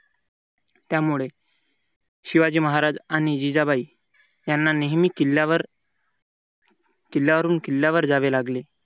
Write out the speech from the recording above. त्यामुळे शिवाजी महाराज आणि जिजाबाई यांना नेहमी किल्ल्यावर किल्ल्यावरून किल्ल्यावर जावे लागले.